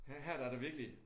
Her her der det virkelig